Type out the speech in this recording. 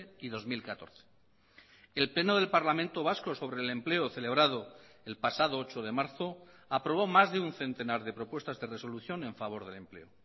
y dos mil catorce el pleno del parlamento vasco sobre el empleo celebrado el pasado ocho de marzo aprobó más de un centenar de propuestas de resolución en favor del empleo